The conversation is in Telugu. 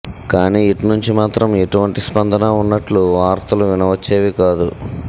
కానీ ఇట్నుంచి మాత్రం ఎటువంటి స్పందన వున్నట్లు వార్తలు వినవచ్చేవి కాదు